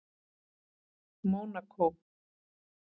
Mónakó